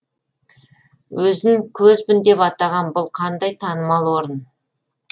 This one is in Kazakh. өзін көзбін деп атаған бұл қандай танымал орын